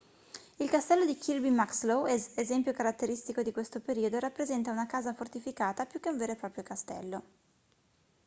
il castello di kirby muxloe esempio caratteristico di questo periodo rappresenta una casa fortificata più che un vero e proprio castello